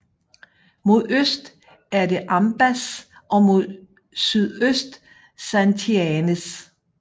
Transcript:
Mod øst er det Ambás og mod sydøst Santianes